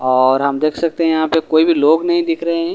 और हम देख सकते है यहाँ पर कोई भी लोग नही दिख रहे हैं ।